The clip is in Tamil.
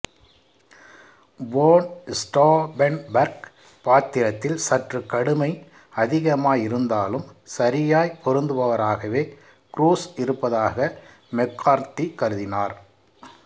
வோன் ஸ்டாஃபென்பெர்க் பாத்திரத்தில் சற்று கடுமை அதிகமாய் இருந்தாலும் சரியாய் பொருந்துபவராகவே க்ரூஸ் இருப்பதாக மெக்கார்தி கருதினார்